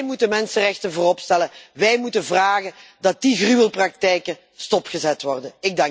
Wij moeten mensenrechten voorop stellen. Wij moeten vragen dat die gruwelpraktijken stopgezet worden.